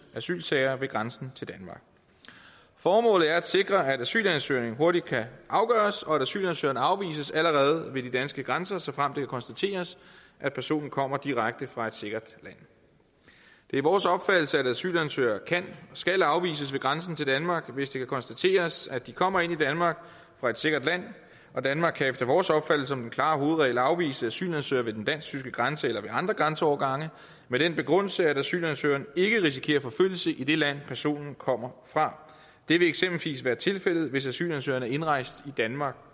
asylsager ved grænsen til danmark formålet er at sikre at asylansøgninger hurtigt kan afgøres og at asylansøgeren afvises allerede ved de danske grænser såfremt det kan konstateres at personen kommer direkte fra et sikkert land det er vores opfattelse at asylansøgere skal afvises ved grænsen til danmark hvis det kan konstateres at de kommer ind i danmark fra et sikkert land og danmark kan efter vores opfattelse som den klare hovedregel afvise asylansøgere ved den dansk tyske grænse eller ved andre grænseovergange med den begrundelse at asylansøgeren ikke risikerer forfølgelse i det land personen kommer fra det vil eksempelvis være tilfældet hvis asylansøgeren er indrejst i danmark